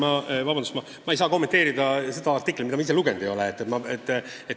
Ja vabandust, ma ei saa kommenteerida artiklit, mida ma ise lugenud ei ole.